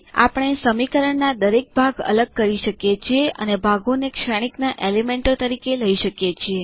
આપણે સમીકરણના દરેક ભાગ અલગ કરી શકીએ છીએ અને ભાગોને શ્રેણિક ના એલિમેન્ટો તરીકે લઇ શકીએ છીએ